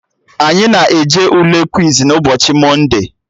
Anyị na-eje Ule kwiz n'ụbọchị mọnde